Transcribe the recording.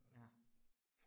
Ja